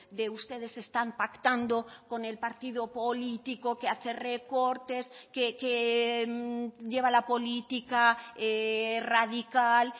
de ustedes están pactando con el partido político que hace recortes que lleva la política radical